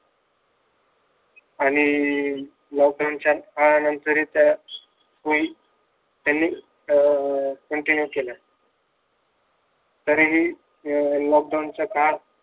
आणि लॉकडाउनच्या काळानंतरही त्या सवयी त्यांनी अं त्यांच्या ह्या केल्या तरीही लॉकडाउनच्या काळात